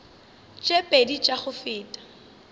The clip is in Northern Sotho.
tše pedi tša go feta